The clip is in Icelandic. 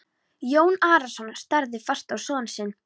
Jón Arason starði fast á son sinn.